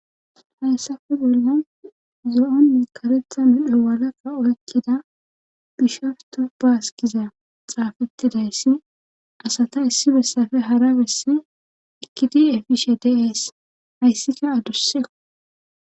Hayssafe bolla zo7onni karetha meddo walaqa oykkida gisharto baaskiza xaafettidayssi asata issi bessafe hara bessi ekkidi efishe deees hayssika adusseko.